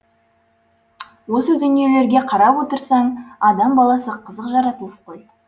осы дүниелерге қарап отырсаң адам баласы қызық жаратылыс қой